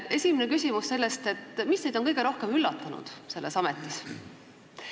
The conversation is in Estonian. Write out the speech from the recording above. Esimene küsimus on, mis teid on kõige rohkem üllatanud selles ametis.